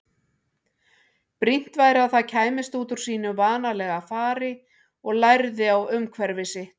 Brýnt væri að það kæmist út úr sínu vanalega fari og lærði á umhverfi sitt.